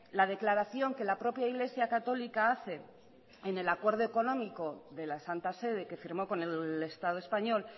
la declaración que la propia iglesia católica hace en el acuerdo económico de la santa sede que firmó con el estado español